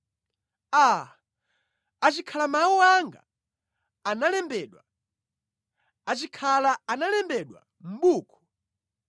“Aa, achikhala mawu anga analembedwa, achikhala analembedwa mʼbuku,